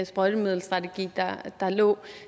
sprøjtemiddelstrategi der lå